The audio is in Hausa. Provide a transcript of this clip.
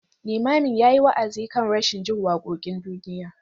Limamin ya yi wa’azi kan rashin jin wakokin duniya.